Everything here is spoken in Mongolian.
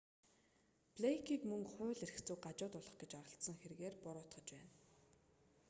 блэйкийг мөн хууль эрх зүйг гажуудуулах гэж оролдсон хэргээр буруутгаж байна